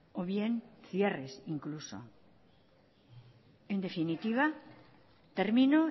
o bien cierres incluso en definitiva termino